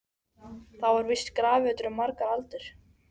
Þar var víst grafreitur í margar aldir.